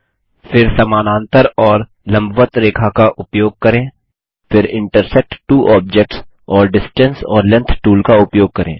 फिर समानांतर और लम्बवत्त रेखा का उपयोग करें फिर इंटरसेक्ट त्वो ऑब्जेक्ट्स और डिस्टेंस ऑर लेंग्थ टूल का उपयोग करें